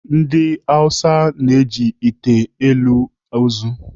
Ndị Awụsa na-eji ite elu ozu.